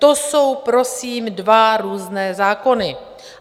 To jsou prosím dva různé zákony.